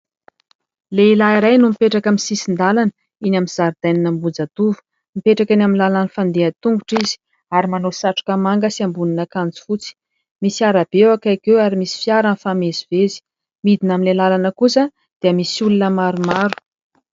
Lehilahy iray no mipetraka amin'ny sisin-dalana eny amin'ny zaridainan' Ambohijatovo. Mipetraka eny amin'ny lalan'ny mpandeha an-tongotra izy ary manao satroka manga sy ambonin'akanjo fotsy. Misy arabe eo akaiky eo ary misy fiara mifamezivezy. Midina amin'ilay arabe kosa dia misy olona maromaro.